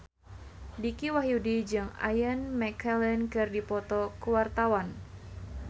Dicky Wahyudi jeung Ian McKellen keur dipoto ku wartawan